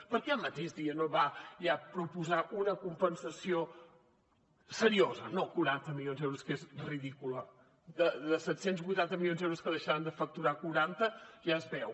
per què el mateix dia no va ja proposar una compensació seriosa no quaranta milions d’euros que és ridícula de set cents i vuitanta milions d’euros que deixaran de facturar quaranta ja es veu